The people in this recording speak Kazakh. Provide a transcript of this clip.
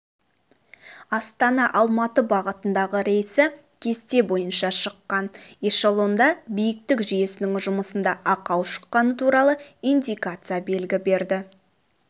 астана-алматы бағытындағы рейсі кесте бойынша шыққан эшелонда биіктік жүйесінің жұмысында ақау шыққаны туралы индикация белгі берді